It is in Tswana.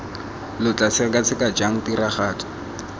lo tla sekaseka jang tiragatso